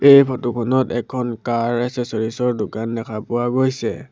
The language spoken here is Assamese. এই ফটো খনত এখন কাৰ এচেছ'ৰিছ দোকান দেখা পোৱা গৈছে।